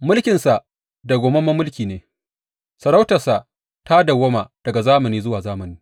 Mulkinsa dawwammamen mulki ne; sarautarsa ta dawwama daga zamani zuwa zamani.